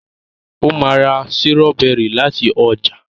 o má rà Sírọ́bẹ́rì lati ọjà